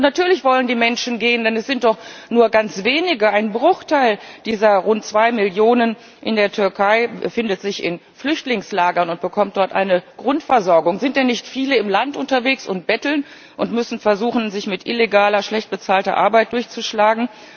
Und natürlich wollen die Menschen gehen, denn es sind doch nur ganz wenige, nur ein Bruchteil dieser rund zwei Millionen in der Türkei, der sich in Flüchtlingslagern befindet und dort eine Grundversorgung bekommt. Sind denn nicht viele im Land unterwegs und betteln und müssen versuchen, sich mit illegaler, schlecht bezahlter Arbeit durchzuschlagen?